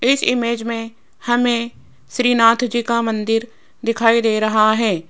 इस इमेज में हमें श्रीनाथ जी का मंदिर दिखाई दे रहा है।